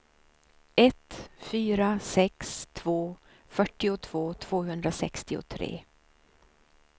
ett fyra sex två fyrtiotvå tvåhundrasextiotre